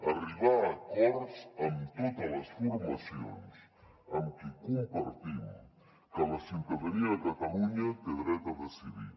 arribar a acords amb totes les formacions amb qui compartim que la ciutadania de catalunya té dret a decidir